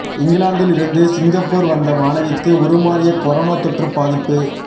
இஙகிலாந்தில் இருந்து சிங்கப்பூர் வந்த மாணவிக்கு உருமாறிய கொரோனா தொற்று பாதிப்பு